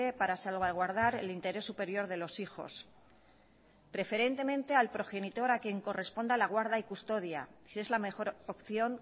para salvaguardar el interés superior de los hijos preferentemente al progenitor a quien corresponda la guarda y custodia si es la mejor opción